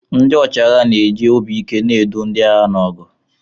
Ndị ọchịagha na-eji obi ike na-edu ndị agha n'ọgụ.